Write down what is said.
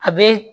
A bɛ